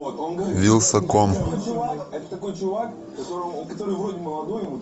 вилсаком